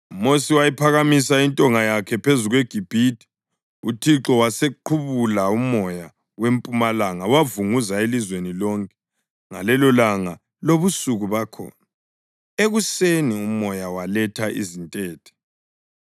UMosi wayiphakamisa intonga yakhe phezu kweGibhithe, uThixo wasequbula umoya wempumalanga wavunguza elizweni lonke ngalelolanga lobusuku bakhona. Ekuseni umoya waletha izintethe.